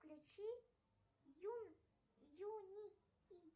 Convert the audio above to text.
включи юнити